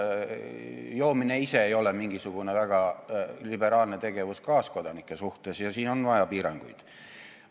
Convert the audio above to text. Joomine ise ei ole mingisugune väga liberaalne tegevus kaaskodanike suhtes ja siin on vaja piiranguid.